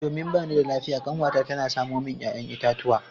Domin ba ni da lafiya kanwata ta samo min 'ya'yan itatuwa.